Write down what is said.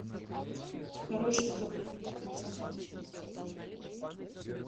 хороший доктор тридцатая часть